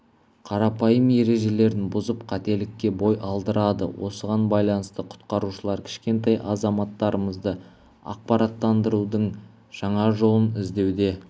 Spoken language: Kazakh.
қарапайым ережелерін бұзып қателікке бой алдырады осыған байланысты құтқарушылар кішкентай азаматтарымызды ақпараттандырудың жаңа жолын іздеуде